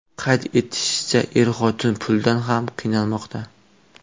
Qayd etilishicha, er-xotin puldan ham qiynalmoqda.